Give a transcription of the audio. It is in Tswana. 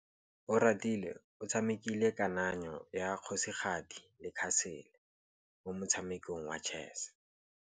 Oratile o tshamekile kananyô ya kgosigadi le khasêlê mo motshamekong wa chess.